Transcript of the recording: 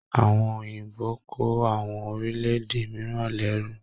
Àwọn Òyìnbó kò àwọn orílẹ̀-èdè mìíràn lérù.